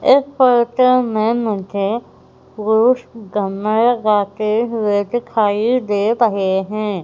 इस फोटो में मुझे पुरुष गन्ना लगाते हुए दिखाई दे रहे हैं।